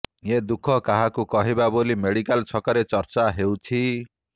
ଏ ଦୁଃଖ କାହାକୁ କହିବା ବୋଲି ମେଡିକାଲ ଛକରେ ଚର୍ଚ୍ଚା ହେଉଛି